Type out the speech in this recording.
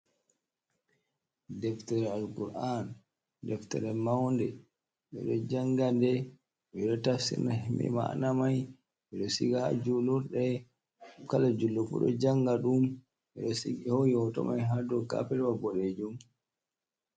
Ɗeftere alkur'an. Ɗeftere maunɗe. Beɗo janga ɗe. Beeɗo tafsira maana mai. beɗo siga ha julurɗe. kala julɗo fu ɗo janga ɗum. Be ɗo sigi. Be ho'i hoto mai ha dow kapelwa boɗeejum.